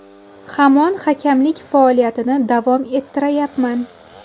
Hamon hakamlik faoliyatini davom ettirayapman.